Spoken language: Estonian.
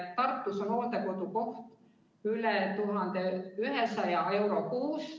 Tartus maksab hooldekodukoht üle 1100 euro kuus.